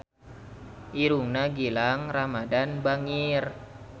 Irungna Gilang Ramadan bangir